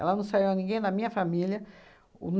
Ela não saiu ninguém na minha família.